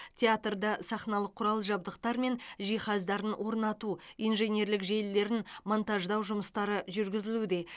театрда сахналық құрал жабдықтар мен жиһаздарын орнату инженерлік желілерін монтаждау жұмыстары жүргізілуде